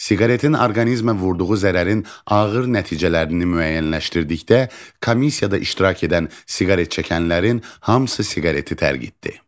Siqaretin orqanizmə vurduğu zərərin ağır nəticələrini müəyyənləşdirdikdə, komissiyada iştirak edən siqaret çəkənlərin hamısı siqareti tərgitdi.